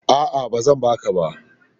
A'a, ba zan ba ka ba.